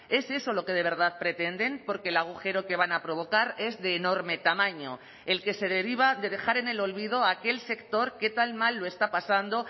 es eso lo que de verdad pretenden porque el agujero que van a provocar es de enorme tamaño el que se deriva de dejar en el olvido a aquel sector que tan mal lo está pasando